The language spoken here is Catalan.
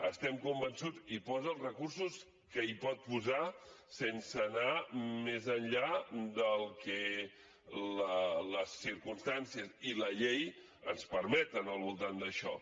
estem convençuts que hi posa els recursos que hi pot posar sense anar més enllà del que les circumstàncies i la llei ens permeten al voltant d’això